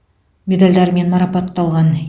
медальдарымен марапатталған